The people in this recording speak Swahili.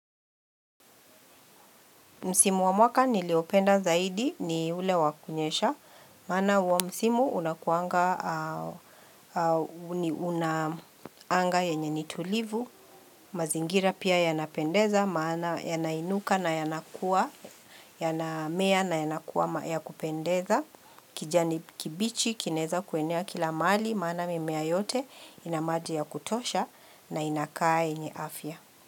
Msimo wa mwaka niliopenda zaidi ni ule wakunyesha, maana huo msimo unakuanga, huni unanga yenye nitulivu, mazingira pia yanapendeza, maana yanainuka na yanakuwa, yanamea na yanakuwa ya kupendeza, kijani kibichi, kinaweza kuenea kila mahali, maana mimea yote ina maji ya kutosha na inakaa yenye afya.